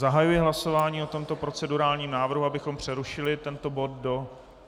Zahajuji hlasování o tomto procedurálním návrhu, abychom přerušili tento bod do...